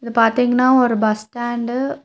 இது பாத்தீங்கனா ஒரு பஸ் ஸ்டாண்டு .